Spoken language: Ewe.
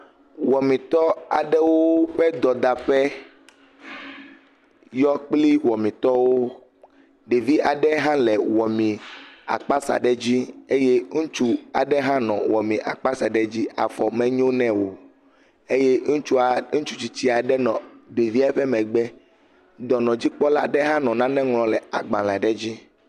Wɔmetɔ aɖewo ƒe dɔdaƒe yɔ kple wɔmetɔwo. Ɖevi aɖe hã le wɔmee akpasa aɖe dzi eye ŋutsu aɖe hã nɔ wɔme akpasa aɖe dzi afɔ menyo nɛ o eye ŋutsua ɖe ŋutsu tisitsi aɖe nɔ ɖevia ƒe megbe. Dɔnɔdzikpɔla aɖe hã nɔ nane ŋlɔm ɖe agbale aɖe dzi.